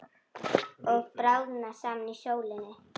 Að bráðna saman í sólinni